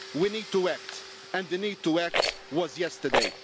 We need to act, and the need to act was yesterday.